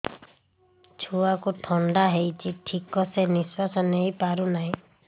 ଛୁଆକୁ ଥଣ୍ଡା ହେଇଛି ଠିକ ସେ ନିଶ୍ୱାସ ନେଇ ପାରୁ ନାହିଁ